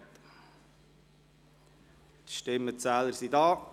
Die Stimmenzähler sind anwesend.